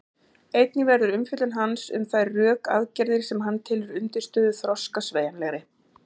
Einnig verður umfjöllun hans um þær rökaðgerðir sem hann telur undirstöðu þroska sveigjanlegri.